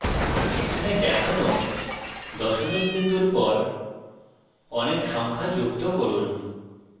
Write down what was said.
এখানে দেখানো দশমিক বিন্দুর পর অনেক সংখ্যা যুক্ত করুন